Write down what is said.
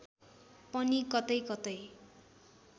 पनि कतैकतै